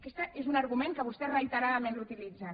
aquest és un argument que vostès reiteradament utilitzen